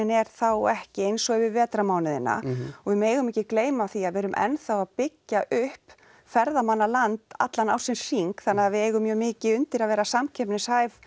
er þá ekki eins og yfir vetrarmánuðina og við megum ekki gleyma því að við erum enn þá að byggja upp ferðamannaland allan ársins hring þannig að við eigum mjög mikið undir að vera samkeppnishæf